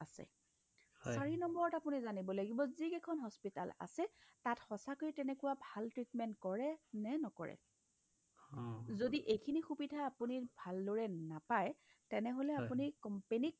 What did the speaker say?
চাৰি নম্বৰত আপুনি জানিব লাগিব যিকেখন hospital আছে তাত সচাকৈয়ে তেনেকুৱা ভাল treatment কৰে নে নকৰে ? যদি এইখিনি সুবিধা আপুনি ভালদৰে নাপাই তেনেহ'লে আপুনি companyক